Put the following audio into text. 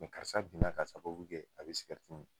karisa binna ka sababu kɛ a bi min